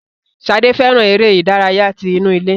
Sade fẹràn eré ìdárayá tí inú ilé.